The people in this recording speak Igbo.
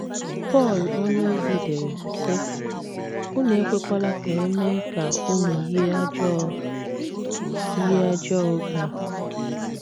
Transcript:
Pọl onyeozi dere, sị: “ Unu ekwekwala ka e mee ka unu yie ajọ yie ajọ oge a. ”